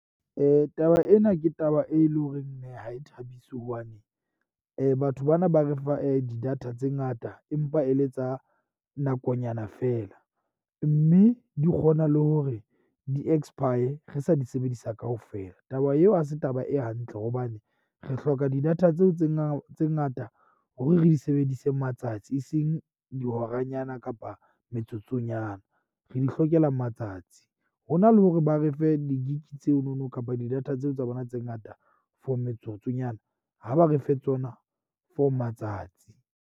Taba ena ke taba e leng horeng ha e thabise hobane batho bana ba re fa di data tse ngata empa e le tsa nakonyana feela. Mme di kgona le hore di expire re sa di sebedisa kaofela. Taba eo ha se taba e hantle hobane re hloka di-data tseo tse tse ngata hore re di sebedise matsatsi e seng dihoranyana kapa metsotsonyana. Re di hlokela matsatsi. Ho na le hore ba re fe di-gig tseno no kapa di data tseo tsa rona tse ngata for metsotsonyana ha ba re fe tsona for matsatsi.